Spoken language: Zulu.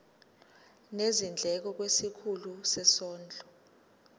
nezindleko kwisikhulu sezondlo